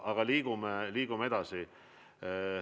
Aga liigume edasi.